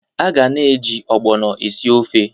A ga na-eji ogbono esi ofe.